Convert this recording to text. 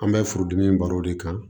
An bɛ furudimi in baro de kan